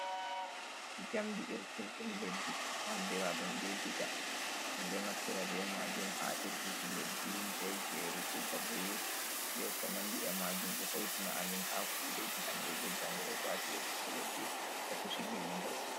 Jamdi irturi dum leddi andira dum be diga ,mindo naftira be majum ha irtuki leddi be geru babe be ko nandi’e majum do hoitina amin ha kudeji hande be jango go shafi irtuku leddi e pushigi mahol.